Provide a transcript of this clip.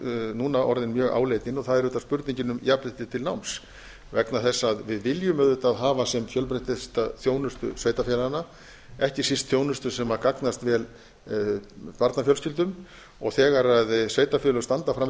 núna orðin mjög áleitin það er auðvitað spurningin um jafnrétti til náms vegna þess að við viljum auðvitað hafa sem fjölbreyttasta þjónustu sveitarfélaganna ekki síst þjónustu sem gagnast vel barnafjölskyldum þegar sveitarfélög standa frammi